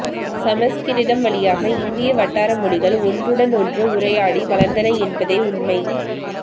சம்ஸ்கிருதம் வழியாக இந்திய வட்டாரமொழிகள் ஒன்றுடனொன்று உரையாடி வளர்ந்தன என்பதே உண்மை